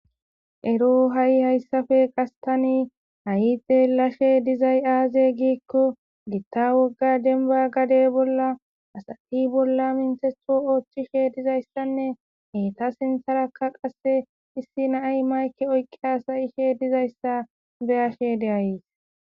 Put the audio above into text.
Ero ha'i hayssafe qastani hayite lashe dizay aaze giikko gitta wogga denba gade bolla asati bolla mintetho ooththishe dizayssanne heeta sintharakka qasse issi naay mayke oyqqi asayishe dizayssa beyashe de7ayees